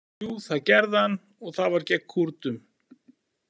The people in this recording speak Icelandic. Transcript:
Jú, það gerði hann og það var gegn Kúrdum.